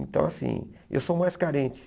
Então assim, eu sou mais carente.